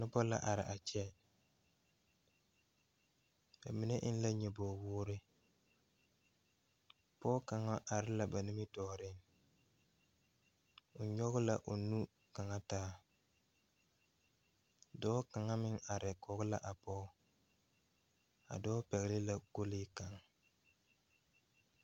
Nobɔ la are a kyɛ ba mine eŋ la nyoboge woore pɔɔ kaŋa are la ba nimitooreŋ o nyoge la o nu kaŋa taa dɔɔ kaŋa meŋ are kɔge la a pɔge a dɔɔ pɛgle la kolee kaŋ.